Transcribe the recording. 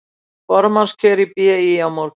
Formannskjör í BÍ á morgun